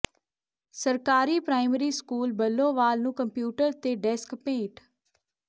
ਸਰਕਾਰੀ primary school Bullowal ਨੂੰ computer ਤੇ ਡੈਸਕ ਭੇਟ